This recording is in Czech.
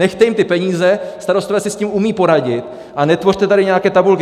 Nechte jim ty peníze, starostové si s tím umí poradit, a netvořte tady nějaké tabulky.